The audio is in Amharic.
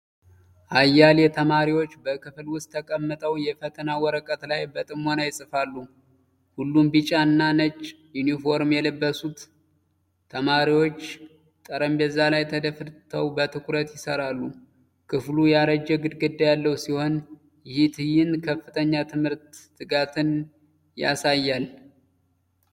አያሌ ተማሪዎች በክፍል ውስጥ ተቀምጠው የፈተና ወረቀት ላይ በጥሞና ይጽፋሉ። ሁሉም ቢጫ እና ነጭ ዩኒፎርም የለበሱት ተማሪዎች ጠረጴዛ ላይ ተደፍተው በትኩረት ይሠራሉ። ክፍሉ ያረጀ ግድግዳ ያለው ሲሆን፣ ይህ ትዕይንት ከፍተኛ የትምህርት ትጋትን ያሳያል።